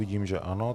Vidím, že ano.